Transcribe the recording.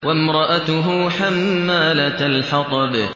وَامْرَأَتُهُ حَمَّالَةَ الْحَطَبِ